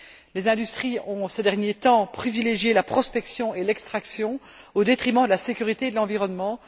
Les industries ont, ces derniers temps, privilégié la prospection et l'extraction, au détriment de la sécurité et de l'environnement